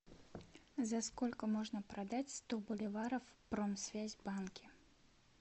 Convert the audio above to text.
за сколько можно продать сто боливаров в промсвязьбанке